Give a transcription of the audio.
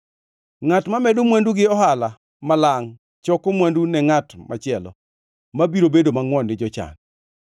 Ngʼat mamedo mwandu gi ohala ma malangʼ choko mwandu ne ngʼat machielo, mabiro bedo mangʼwon gi jochan.